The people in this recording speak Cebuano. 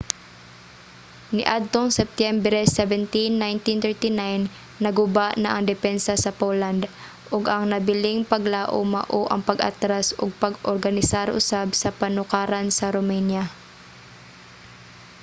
niadtong septyembre 17 1939 naguba na ang depensa sa poland ug ang nabiling paglaum mao ang pag-atras ug pag-organisar usab sa panukaran sa romania